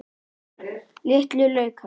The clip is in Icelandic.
Litlu laukar.